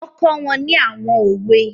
Wọ́n kọ́ wọn ní àwọn òwe